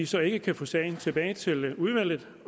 så ikke få sagen tilbage til udvalget